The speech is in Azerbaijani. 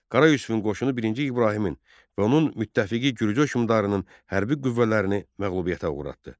Qara Yusifin qoşunu birinci İbrahimin və onun müttəfiqi Gürcü hökmdarının hərbi qüvvələrini məğlubiyyətə uğratdı.